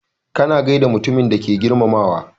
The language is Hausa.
Kana gaida mutumin da kake girmamawa.